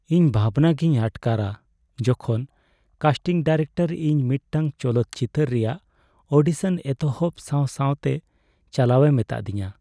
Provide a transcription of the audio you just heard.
ᱤᱧ ᱵᱷᱟᱵᱽᱱᱟᱜᱮᱧ ᱟᱴᱠᱟᱨᱟ ᱡᱚᱠᱷᱚᱱ ᱠᱟᱥᱴᱤᱝ ᱰᱤᱨᱮᱠᱴᱚᱨ ᱤᱧ ᱢᱤᱫᱴᱟᱝ ᱪᱚᱞᱚᱛ ᱪᱤᱛᱟᱹᱨ ᱨᱮᱭᱟᱜ ᱚᱰᱤᱥᱚᱱ ᱮᱛᱚᱦᱚᱵ ᱥᱟᱶ ᱥᱟᱶᱛᱮ ᱪᱟᱞᱟᱣᱮ ᱢᱤᱛᱟᱹᱫᱤᱧᱟ ᱾